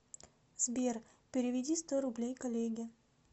сбер переведи сто рублей коллеге